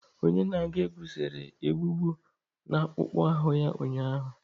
Onye na-agụ egwú sere egbugbu n'akpụkpọ ahụ ya ụnyaahụ.